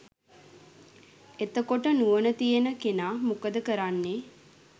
එතකොට නුවණ තියෙන කෙනා මොකද කරන්නේ